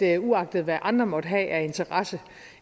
at uagtet hvad andre måtte have af interesse